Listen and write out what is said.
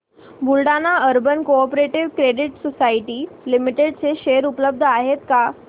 Buldhana urban cooperative credit society limited चे share उपलब्ध आहेत का